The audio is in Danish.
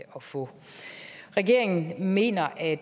få regeringen mener at